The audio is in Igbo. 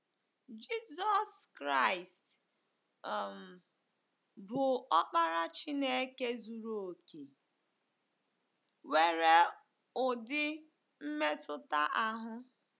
Jizọs Kraịst um, bụ́ Ọkpara Chineke zuru okè, nwere ụdị mmetụta ahụ.